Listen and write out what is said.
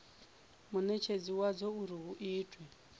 munetshedzi wadzo uri hu itwe